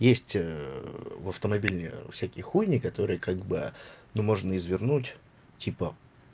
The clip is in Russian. есть в автомобиле всякие хуйни которые как-бы ну можно извернуть типа